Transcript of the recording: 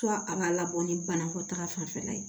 a ka labɔ ni banakɔta fanfɛla ye